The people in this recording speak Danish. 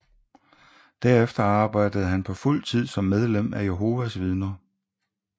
Derefter arbejdede han på fuld tid som medlem af Jehovas Vidner